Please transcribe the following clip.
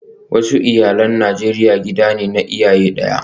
Wasu iyalai na Najeriya gida ne na iyaye daya